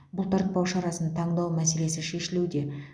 бұлтартпау шарасын таңдау мәселесі шешілуде